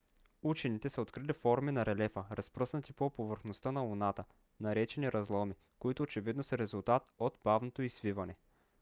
учените са открили форми на релефа разпръснати по повърхността на луната наречени разломи които очевидно са резултат от бавното й свиване